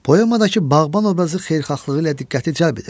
Poemadakı bağban obrazı xeyirxahlığı ilə diqqəti cəlb edir.